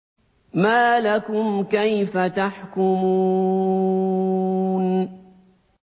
مَا لَكُمْ كَيْفَ تَحْكُمُونَ